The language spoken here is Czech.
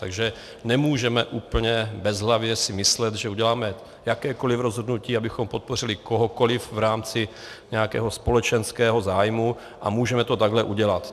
Takže nemůžeme úplně bezhlavě si myslet, že uděláme jakékoliv rozhodnutí, abychom podpořili kohokoliv v rámci nějakého společenského zájmu, a můžeme to takhle udělat.